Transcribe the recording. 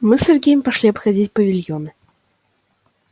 мы с сергеем пошли обходить павильоны